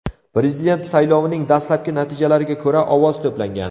Prezident saylovining dastlabki natijalariga ko‘ra, ovoz to‘plagan.